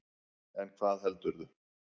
En hvað heldurðu?